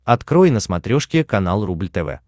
открой на смотрешке канал рубль тв